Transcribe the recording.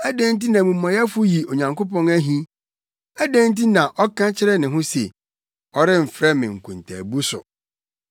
Adɛn nti na omumɔyɛfo yi Onyankopɔn ahi? Adɛn nti na ɔka kyerɛ ne ho se, “Ɔremfrɛ me akontaabu so?”